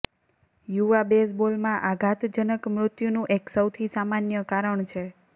યુવા બેઝબોલમાં આઘાતજનક મૃત્યુનું એક સૌથી સામાન્ય કારણ છે